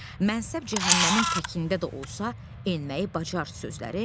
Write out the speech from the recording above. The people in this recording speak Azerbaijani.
Məsəl cəhənnəmin təkində də olsa, enməyi bacar